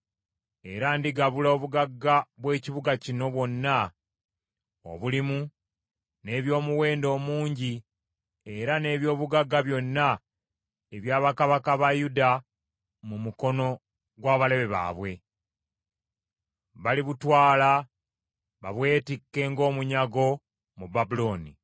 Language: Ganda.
Era ndigabula obugagga bw’ekibuga kino bwonna obulimu, n’eby’omuwendo omungi era n’eby’obugagga byonna ebya bakabaka ba Yuda mu mukono gw’abalabe baabwe. Balibutwala babwetikke ng’omunyago mu Babulooni.